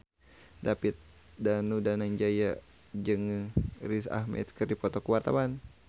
David Danu Danangjaya jeung Riz Ahmed keur dipoto ku wartawan